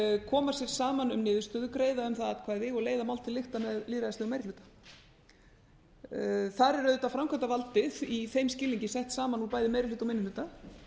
koma sér saman um niðurstöðu greiða um það atkvæði og leiða mál til lykta með lýðræðislegum meiri hluta þar er auðvitað framkvæmdarvaldið í þeim skilningi sett saman úr bæði meiri hluta og minni hluta